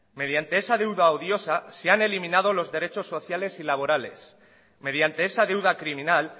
mediante esa deuda odiosa se han eliminado los derechos sociales y laborales mediante esa deuda criminal